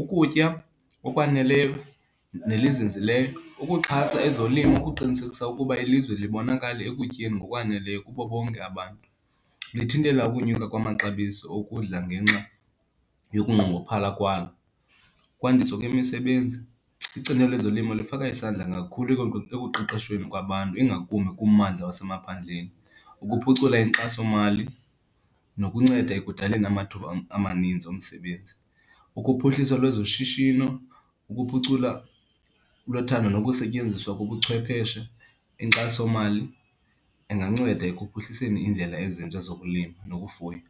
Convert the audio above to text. ukutya okwaneleyo nelizinzileyo. Ukuxhasa ezolimo kuqinisekisa ukuba ilizwe libonakala ekutyeni ngokwaneleyo kubo bonke abantu. Lithintela ukonyuka kwamaxabiso okudla ngenxa yokunqongophala kwalo. Ukwandiswa kwemisebenzi, icandelo lezolimo lifaka isandla kakhulu ekuqeqwesheni kwabantu, ingakumbi kummandla lwasemaphandleni, ukuphucula inkxasomali nokunceda ekudaleni amathuba amaninzi omsebenzi. Ukuphuhliswa lwezoshishino, ukuphucula lothando nokusetyenziswa kobuchwepheshe. Inkxasomali inganceda ekuphuhliseni iindlela ezintsha zokulima nokufuya.